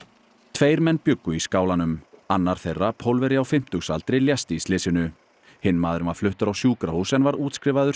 tveir menn bjuggu í skálanum annar þeirra Pólverji á fimmtugsaldri lést í slysinu hinn maðurinn var fluttur á sjúkrahús en var útskrifaður